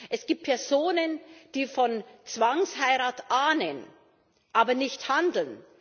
Es gibt Personen, die von Zwangsheirat ahnen, aber nicht handeln.